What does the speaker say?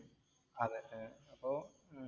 അപ്പൊ